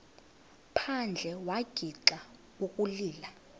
phandle wagixa ukulila